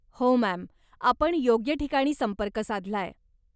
हो, मॅम! आपण योग्य ठिकाणी संपर्क साधलाय.